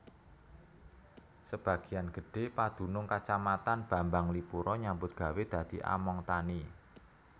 Sebagian gedhé padunung Kacamatan Bambanglipuro nyambut gawé dadi among tani